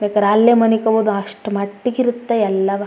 ಬೇಕಾರೆ ಅಲ್ಲೆ ಮನಿಕೋಬಹುದು ಅಷ್ಟಮಟ್ಟಿಗೆ ಇರುತ್ತೆ ಎಲ್ಲಾವ.